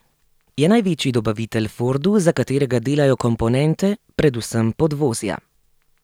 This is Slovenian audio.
Je največji dobavitelj Fordu, za katerega delajo komponente, predvsem podvozja.